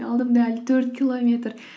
алдымда әлі төрт километр